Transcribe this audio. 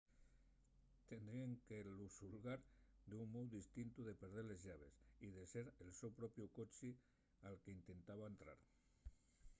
tendríen que lu xulgar d’un mou distintu de perder les llaves y de ser el so propiu coche al qu’intentaba entrar